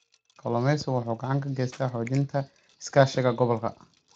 Kalluumeysigu wuxuu gacan ka geystaa xoojinta iskaashiga gobolka.